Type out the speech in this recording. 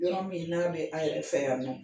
Ɲagami n'a bɛ a yɛrɛ fɛ yan nɔ